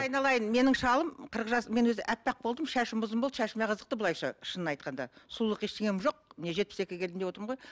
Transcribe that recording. айналайын менің шалым қырық жас мен өзі аппақ болдым шашым ұзын болды шашыма қызықты былайынша шынын айтқанда сұлулық ештеңем жоқ міне жетпіс екіге келдім деп отырмын ғой